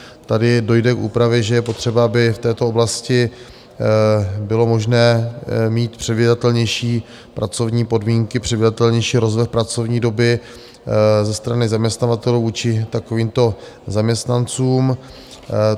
Tady dojde k úpravě, že je potřeba, aby v této oblasti bylo možné mít předvídatelnější pracovní podmínky, předvídatelnější rozvrh pracovní doby ze strany zaměstnavatelů vůči takovýmto zaměstnancům.